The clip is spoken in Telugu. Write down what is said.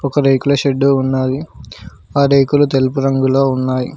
ఒక రేకుల షెడ్డు ఉన్నాది ఆ రేకులు తెలుపు రంగులో ఉన్నాయి.